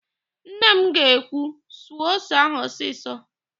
Nne m ga-ekwu, "suo ose ahụ ọsịsọ!